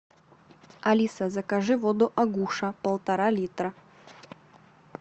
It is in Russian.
алиса закажи воду агуша полтора литра